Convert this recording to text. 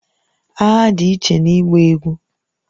Agha dị iche na ịgba egwú